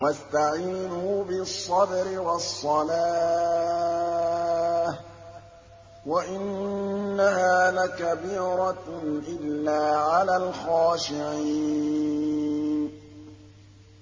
وَاسْتَعِينُوا بِالصَّبْرِ وَالصَّلَاةِ ۚ وَإِنَّهَا لَكَبِيرَةٌ إِلَّا عَلَى الْخَاشِعِينَ